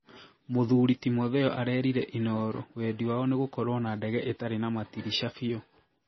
Mũthuri Timotheo arerire inooro Wendi wao nĩ gũkorwo na ndege ĩtarĩ na matirisha biũ